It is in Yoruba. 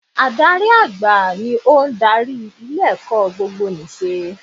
Adarí àgbà ni ó n darí ilé ẹ̀kọ́ gbogbonìṣe